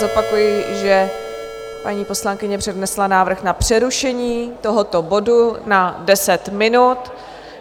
Zopakuji, že paní poslankyně přednesla návrh na přerušení tohoto bodu na deset minut.